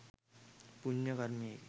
පුණ්‍ය කර්මයකි.